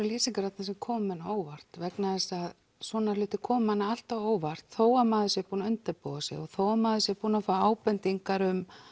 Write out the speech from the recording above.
lýsingar þarna sem koma manni á óvart vegna þess að svona hlutir koma manni alltaf á óvart þó maður sé búinn að undirbúa sig og þó maður sé búinn að fá ábendingar um